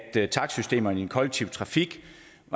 takstsystemerne i den kollektive trafik